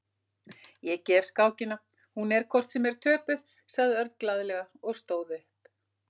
Ég gef skákina, hún er hvort sem er töpuð, sagði Örn glaðlega og stóð upp.